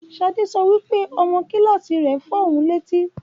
Ṣadé sọ wípé; ọmọ kílàsí rẹ fọ ohun lẹ́tí